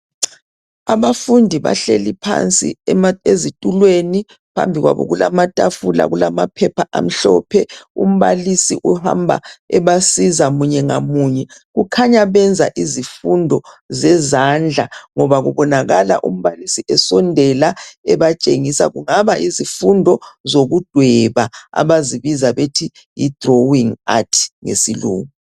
Abafundi bahleli phansi ezitulweni phambi kwabo kulamatafula, kulamaphepha amhlophe umbalisi uhamba ebasiza munye ngamunye kukhanya benza izifundo zezandla ngoba kubonakala umbalisi esondela ebatshengisa kungaba yizifundo zokudweba abazibiza bethu yi drawing art ngesilungu.